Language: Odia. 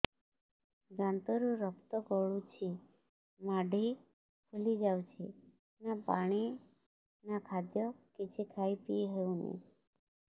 ଦାନ୍ତ ରୁ ରକ୍ତ ଗଳୁଛି ମାଢି ଫୁଲି ଯାଉଛି ନା ପାଣି ନା ଖାଦ୍ୟ କିଛି ଖାଇ ପିଇ ହେଉନି